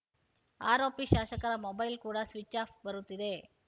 ಆರೋಪಿ ಶಾಸಕರ ಮೊಬೈಲ್‌ ಕೂಡ ಸ್ವಿಚ್‌ ಆಫ್‌ ಬರುತ್ತಿದೆ